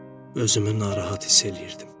Özümü narahat hiss eləyirdim.